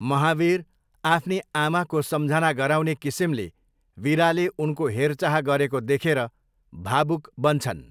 महावीर आफ्नी आमाको सम्झना गराउने किसिमले वीराले उनको हेरचाह गरेको देखेर भावुक बन्छन्।